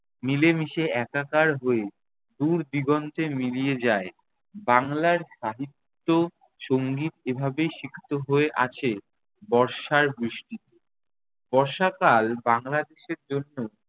মিলেমিশে একাকার হয়ে দূর দিগন্তে মিলিয়ে যায়। বাংলার সাহিত্য-সঙ্গীত এভাবেই সিক্ত হয়ে আছে বর্ষার বৃষ্টিতে। বর্ষাকাল বাংলাদেশের জন্য